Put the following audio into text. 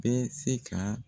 Bɛɛ se ka